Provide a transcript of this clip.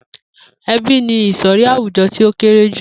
E̩bí ni ìsò̩rí àwùjo̩ tí ó kéré jù